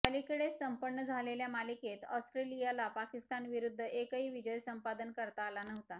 अलीकडेच संपन्न झालेल्या मालिकेत ऑस्ट्रेलियाला पाकिस्तानविरुद्ध एकही विजय संपादन करता आला नव्हता